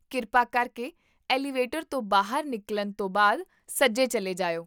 ਕਿਰਪਾ ਕਰਕੇ ਐਲੀਵੇਟਰ ਤੋਂ ਬਾਹਰ ਨਿਕਲਣ ਤੋਂ ਬਾਅਦ ਸੱਜੇ ਚੱਲੇ ਜਾਇਓ